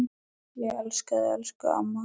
Ég elska þig, elsku amma.